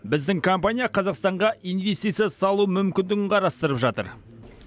біздің компания қазақстанға инвестиция салу мүмкіндігін қарастырып жатыр